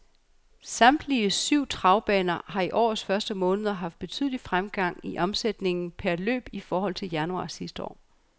Samtlige syv travbaner har i årets første måned haft betydelig fremgang i omsætningen per løb i forhold til januar sidste år.